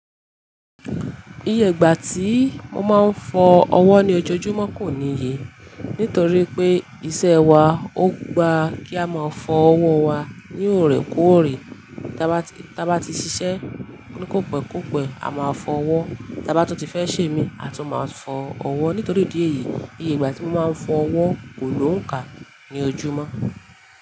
Iye ìgbà tí mo máa ń fọ ọwọ́ ní ojoojúmọ́ kò níye. Nítorí pé iṣẹ́ wa ó gba kí a máa fọ ọwọ́ wa ní òrè kóòrè. Ta bá ti, ta bá ti ṣiṣẹ́ ni kópekópẹ́ a máa fọ ọwọ́, ta bá tún ti fẹ́ sèmi a tún máa fọ ọwọ́. Nítorí ìdí èyí, iye ìgbà tí mo máa ń fọ ọwọ́ kò lóǹkà ní ojúmọ́.